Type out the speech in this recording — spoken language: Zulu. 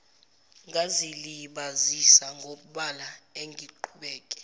ngazilibazisa ngobala angiqhubeke